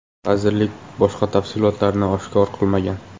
Vazirlik boshqa tafsilotlarni oshkor qilmagan.